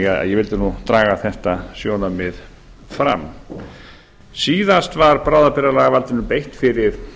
alþingis ég vildi draga þetta sjónarmið fram síðast var bráðabirgðalagavaldinu beitt fyrir